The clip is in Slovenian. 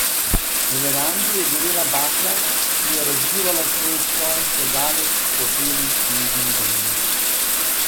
Na verandi je gorela bakla, ki je razlivala svoj soj še daleč po beli snežni odeji.